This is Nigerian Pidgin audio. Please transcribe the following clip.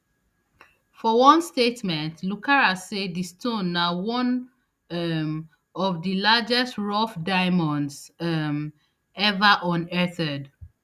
for one statement lucara say di stone na one um of di largest rough diamonds um ever unearthed